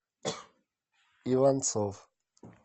иванцов